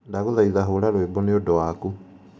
ndaguthaitha hura rwimbo nĩ ũndũ waku